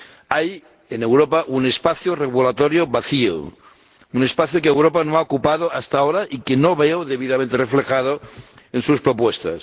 Hay en Europa un espacio regulatorio vacío, un espacio que Europa no ha ocupado hasta ahora y que no veo debidamente reflejado en sus propuestas.